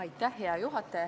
Aitäh, hea juhataja!